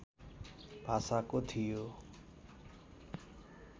भाषाको थियो